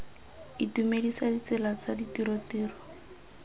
itumedisa ditsela tsa ditiro tiro